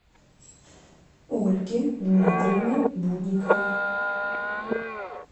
ольге дмитриевне будниковой